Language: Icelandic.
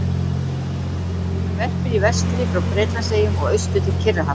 Hann verpir í vestri frá Bretlandseyjum og austur til Kyrrahafs.